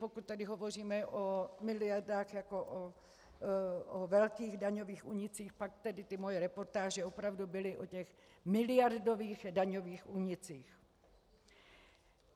Pokud tady hovoříme o miliardách jako o velkých daňových únicích, pak tedy ty moje reportáže opravdu byly o těch miliardových daňových únicích.